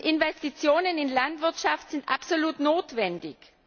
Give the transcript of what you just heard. Investitionen in Landwirtschaft sind absolut notwendig.